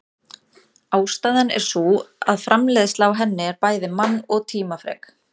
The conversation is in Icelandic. Ástæðan er sú að framleiðsla á henni en bæði mann- og tímafrek.